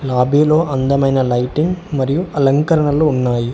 లాబి లో అందమైన లైటింగ్ మరియు అలంకరణలు ఉన్నాయి.